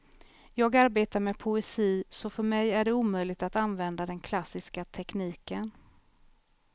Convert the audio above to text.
Jag arbetar med poesi så för mig är det omöjligt att använda den klassiska tekniken.